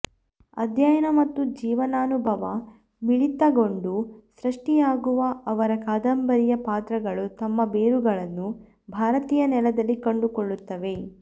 ಅಧ್ಯಯನ ಮತ್ತು ಜೀವನಾನುಭವ ಮಿಳಿತಗೊಂಡು ಸೃಷ್ಟಿಯಾಗುವ ಅವರ ಕಾದಂಬರಿಯ ಪಾತ್ರಗಳು ತಮ್ಮ ಬೇರುಗಳನ್ನು ಭಾರತೀಯ ನೆಲದಲ್ಲಿ ಕಂಡುಕೊಳ್ಳುತ್ತವೆ